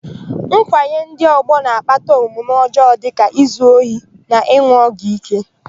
Nkwanye ndị ọgbọ na-akpata omume ọjọọ dịka izu ohi na ịn̄ụ ọgwụ íké.